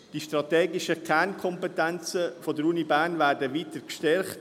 Die strategischen Kernkompetenzen der Universität Bern werden weiter gestärkt.